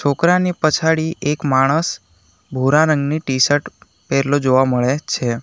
છોકરાની પછાડી એક માણસ ભૂરા રંગની ટી-શર્ટ પેરેલો જોવા મળે છે.